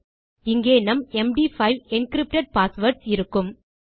இங்கே நம் MD five encrypted passwords இருக்கும்